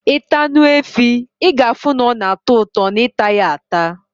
Ita Anu efi, i ga afu na ona ato uto na ita ya ata